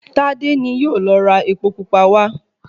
Tádé ni yóò lọ ra epo pupa wá